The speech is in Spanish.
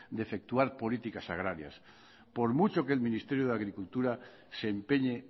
de efectuar políticas agrarias por mucho que el ministerio de agricultura se empeñe